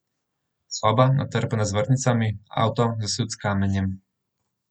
Soba, natrpana z vrtnicami, avto, zasut s kamenjem ...